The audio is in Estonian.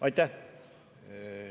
Aitäh!